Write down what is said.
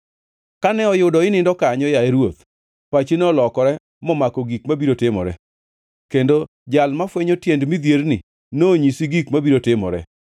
“Kane oyudo inindo kanyo, yaye ruoth, pachi nolokore momako gik mabiro timore, kendo Jal mafwenyo tiend midhierni nonyisi gik mabiro timore.